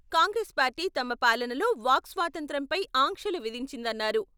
Congress party తమ పాలనలో వాక్ స్వాతంత్య్రంపై ఆంక్షలు విధించిందన్నారు.